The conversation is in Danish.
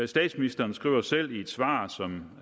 statsministeren skriver selv i et svar som